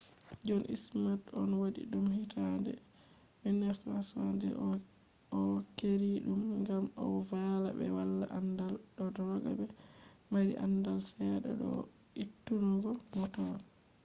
john smith on wadi dum hitande 1970s o’keeri dum ngam o valla be wala andaal do taggobe maari andal sedda do vo’itunungo motor